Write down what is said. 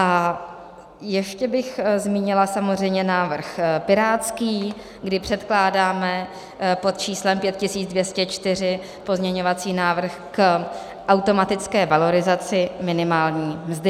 A ještě bych zmínila samozřejmě návrh pirátský, kdy předkládáme pod číslem 5204 pozměňovací návrh k automatické valorizaci minimální mzdy.